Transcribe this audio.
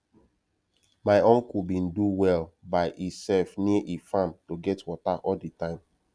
my uncle bin do well by e self near e farm to get water all de time